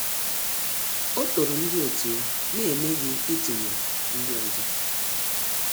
Ọ́ tòrò ndị otu ya n’éméghị́ ítụ́nyéré ndị ọzọ.